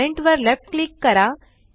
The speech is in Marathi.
पॅरेंट वर लेफ्ट क्लिक करा